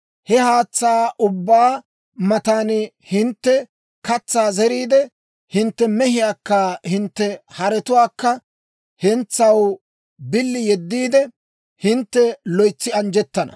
he haatsaa ubbaa matan hintte katsaa zeriide, hintte mehiyaakka hintte haretuwaakka hentsaw billi yeddiide, hintte loytsi anjjettana.